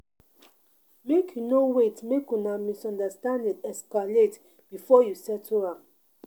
Make you no wait make una misunderstanding escalate before you settle am.